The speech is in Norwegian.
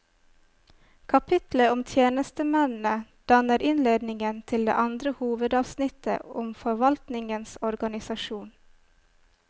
Kapitlet om tjenestemennene danner innledningen til det andre hovedavsnittet om forvaltningens organisasjon.